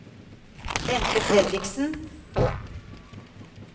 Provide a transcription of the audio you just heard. Bente Fredriksen